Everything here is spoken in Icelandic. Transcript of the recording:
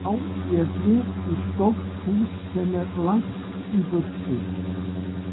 Já, ég flyt í stórt hús sem er langt í burtu.